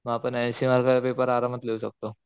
मग आपण ऐंशी मार्काचा पेपर आरामात लिहू शकतो.